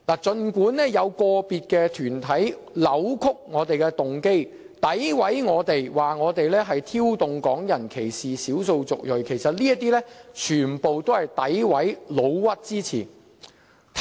儘管有個別團體扭曲我們的動機，詆毀我們，指我們挑動港人歧視少數族裔，其實這些全是詆毀及"老屈"之詞。